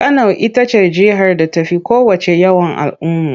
Kano ita ce jihar da ta fi kowacce yawan al'ummu.